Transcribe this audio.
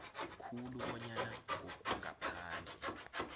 khulu bonyana ngokungaphandle